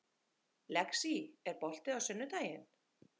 Lexí, er bolti á sunnudaginn?